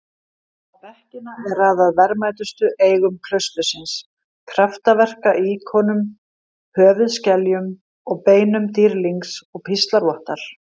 Á bekkina er raðað verðmætustu eigum klaustursins- kraftaverka-íkonum, höfuðskeljum og beinum dýrlings og píslarvottar.